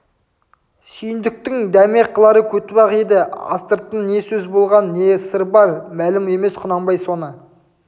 сүйіндіктің дәме қылары көтібақ еді астыртын не сөз болған не сыр бар мәлім емес құнанбай соны